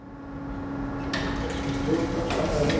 Fyrsta markið leit dagsins ljós strax á annarri mínútu.